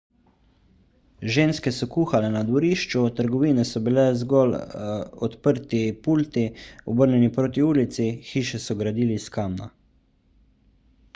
ženske so kuhale na dvorišču trgovine so bile zgolj odprti pulti obrnjeni proti ulici hiše so gradili iz kamna